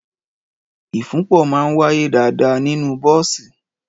Ìfunpọ̀ maà ń wàyé dàdà nínù bọ̀sí